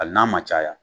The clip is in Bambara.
Hali n'a ma caya